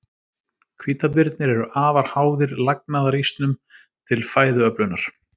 Hvítabirnir eru afar háðir lagnaðarísnum til fæðuöflunar.